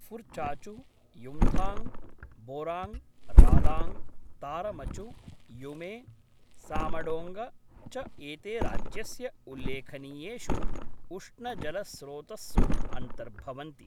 फुर्चाचु, युम्थाङ्ग, बोराङ्ग, रालाङ्ग, तारमचु, युमे सामडोङ्ग च एते राज्यस्य उल्लेखनीयेषु उष्णजलस्रोतस्सु अन्तर्भवन्ति।